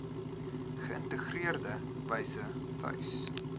geïntegreerde wyse tuis